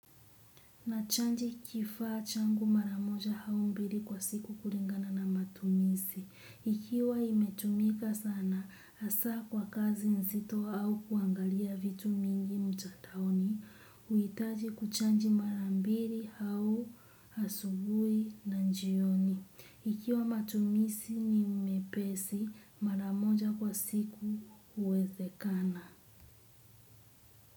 Nachaji kifaa changu mara moja au mbili kwa siku kulingana na matumizi. Ikiwa imetumika sana, hasaa kwa kazi mzito au kuangalia vitu mingi mtandaoni, huitaji kuchaji mara mbili au asubuhi na jioni. Ikiwa matumizi ni mepesi, mara moja kwa siku huwezekana.